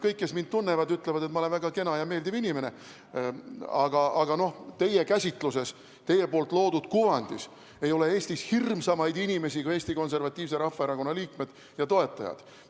Kõik, kes mind tunnevad, ütlevad, et ma olen väga kena ja meeldiv inimene, aga teie käsitluses, teie loodud kuvandis ei ole Eestis hirmsamaid inimesi kui Eesti Konservatiivse Rahvaerakonna liikmed ja toetajad.